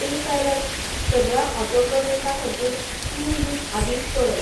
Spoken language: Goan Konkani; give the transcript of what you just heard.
पेपॅल त सगळ्या ऑटो पेमेंटां खातीर तीन दीस आदींच कळय